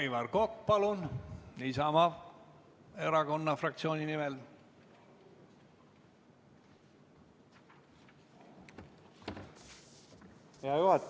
Aivar Kokk, palun Isamaa Erakonna fraktsiooni nimel!